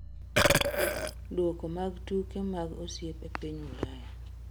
Duoko mag tuke mag osiep e piny Ulaya